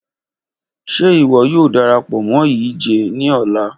Ṣe iwọ yoo darapọ mọ yii ije ni ọla?